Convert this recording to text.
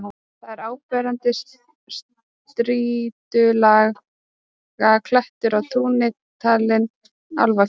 Þar er áberandi strýtulaga klettur í túni, talinn álfakirkja.